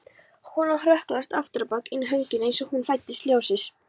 Konan hrökklaðist afturábak inn göngin eins og hún fældist ljósið.